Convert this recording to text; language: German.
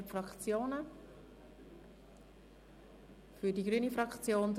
Das Wort ist frei für die Fraktionen.